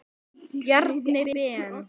Bjarni Ben.